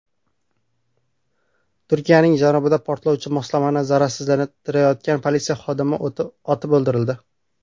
Turkiyaning janubida portlovchi moslamani zararsizlantirayotgan politsiya xodimi otib o‘ldirildi.